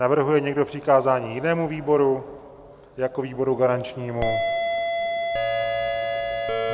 Navrhuje někdo přikázání jinému výboru jako výboru garančnímu?